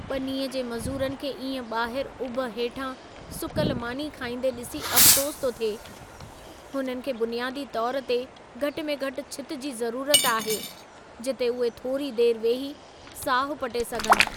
ॿनीअ जे मज़ूरनि खे इएं ॿाहिरु उभ हेठां सुकल मानी खाईंदे ॾिसी अफ़सोसु थो थिए। हुननि खे बुनियादी तौरु ते घटि में घटि छिति जी ज़रूरत आहे, जिते उहे थोरी देरि वेही साहु पटे सघनि।